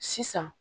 Sisan